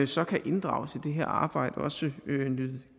så kan inddrages i det her arbejde og også nyde